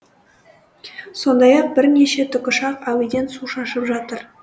сондай ақ бірнеше тікұшақ әуеден су шашып жатыр